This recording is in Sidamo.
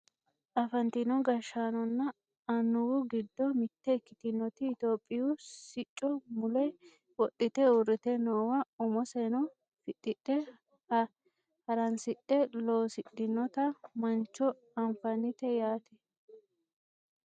Afantino gashshaanonna annuwu giddo mitte ikkitinoti Itiyophiyu sicco mule wodhite uurrite noowa umoseno fixxite haransidhe loosidhinota mancho anfannite yaate .